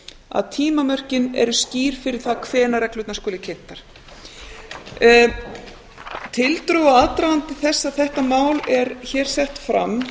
að tímamörkin eru skýr fyrir það hvenær reglurnar skuli kynntar tildrög og aðdragandi þess að þetta mál er hér sett fram